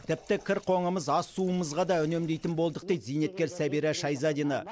тіпті кір қоңымыз ас суымызға да үнемдейтін болдық дейді зейнеткер сәбира шайзадина